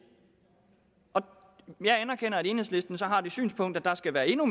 jeg anerkender at enhedslisten så har det synspunkt at der skal være endnu